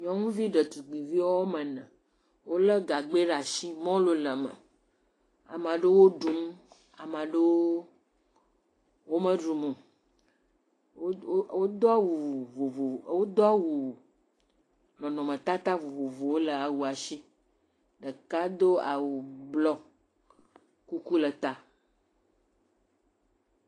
Nyɔnuvi ɖetugbuivi woame ene. Wole gagbɛ ɖe asi, mɔlu le eme. Ame aɖewo ɖum. Ame aɖewo me ɖum o. wodo awu vovovowo, wodo awu nɔnɔme tata vovovowo le awi si. Ɖeka awu blɔ, kuku le eta.